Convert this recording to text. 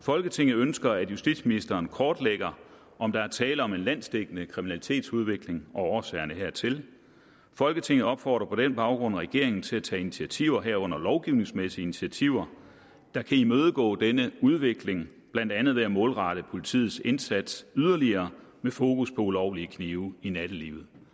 folketinget ønsker at justitsministeren kortlægger om der er tale om en landsdækkende kriminalitetsudvikling og årsagerne hertil folketinget opfordrer på den baggrund regeringen til at tage initiativer herunder lovgivningsmæssige initiativer der kan imødegå denne udvikling blandt andet ved at målrette politiets indsats yderligere med fokus på ulovlige knive i nattelivet